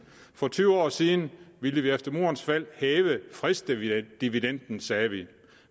for tyve år siden ville vi efter murens fald hæve fredsdividenden sagde vi vi